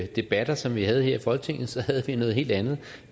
debatter som vi har her i folketinget så havde vi noget helt andet